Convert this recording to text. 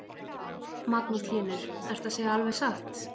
Magnús Hlynur: Ertu að segja alveg satt?